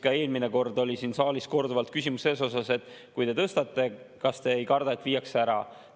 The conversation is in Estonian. Ka eelmine kord oli siin saalis korduvalt küsimus selle kohta, et kui te tõstate, siis kas te ei karda, et viiakse ära.